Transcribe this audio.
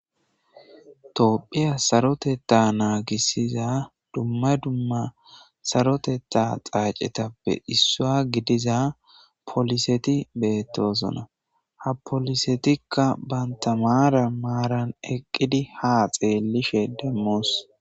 toohphiya saroteta naagissiza dumma dumma saroteta xaacetappe issua gidiza poliseti beettosona ha polisetikka banta maara maaran eqqidi ha xeellishe demmoos